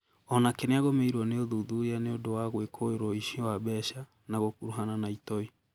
Onake nĩagũmĩirwo nĩ ũthuthuria nĩũndũ wa gwĩkũĩrwo ũici wa mbeca na gũkuruhana na itoi